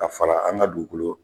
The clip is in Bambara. Ka fara an ka dugukolo